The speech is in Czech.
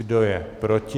Kdo je proti?